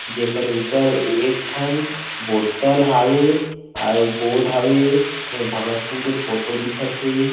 जे कर ऊपर एक ठन बॉटल हावे आऊ बोर्ड हवे एमा भगत सिंग के फोटो दिखत हे।